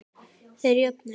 Þeir jöfnuðu metin.